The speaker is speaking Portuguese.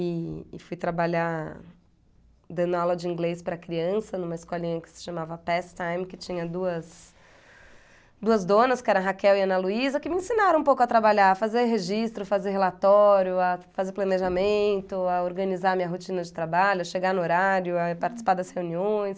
E e fui trabalhar dando aula de inglês para criança numa escolinha que se chamava Past time, que tinha duas donas, que eram a Raquel e a Ana Luísa, que me ensinaram um pouco a trabalhar, a fazer registro, fazer relatório, a fazer planejamento, a organizar minha rotina de trabalho, a chegar no horário, a participar das reuniões.